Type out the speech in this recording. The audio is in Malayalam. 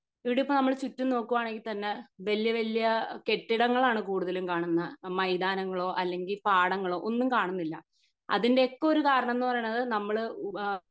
ഇവിടിപ്പോ നമ്മൾ ചുറ്റും നോക്കുവാണെങ്കി തന്നെ വല്യ വല്യ കെട്ടിടങ്ങളാണ് കൂടുതലും കാണുന്നെ മൈദാനങ്ങളോ അല്ലെങ്കി പാടങ്ങളോ ഒന്നും കാണുന്നില്ല അതിൻ്റെ ഒക്കെ ഒരു കാരണം എന്ന് പറയുന്നത്